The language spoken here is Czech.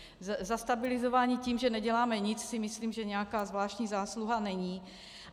Zastabilizování tím, že neděláme nic, si myslím, že nějaká zvláštní zásluha není.